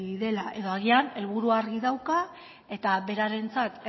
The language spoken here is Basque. dela edo agian helburua argia dauka eta berarentzat